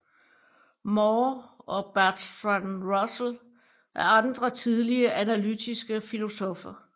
Moore og Bertrand Russell er andre tidlige analytiske filosoffer